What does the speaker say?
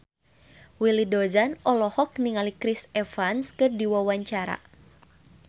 Willy Dozan olohok ningali Chris Evans keur diwawancara